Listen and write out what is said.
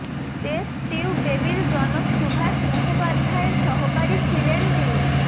test tube বেবির জনক সুভাষ মুখোপাধ্যায়ের সহকারী ছিলেন তিনি